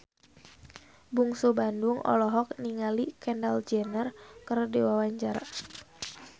Bungsu Bandung olohok ningali Kendall Jenner keur diwawancara